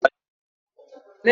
Ọ ma ebe Agodi Gadịnsị nọ?